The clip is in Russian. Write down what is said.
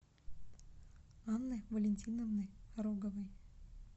анны валентиновны роговой